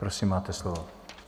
Prosím, máte slovo.